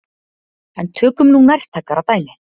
En tökum nú nærtækara dæmi.